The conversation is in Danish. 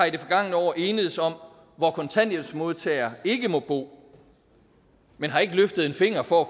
i det forgangne år enedes om hvor kontanthjælpsmodtagere ikke må bo men har ikke løftet en finger for at